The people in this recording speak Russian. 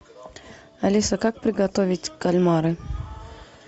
алиса как приготовить кальмары